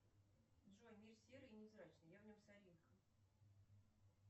джой мир серый и невзрачный я в нем соринка